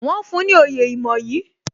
Wọn fún ní oyè ìmoyì